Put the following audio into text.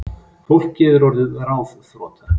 Fólkið er orðið ráðþrota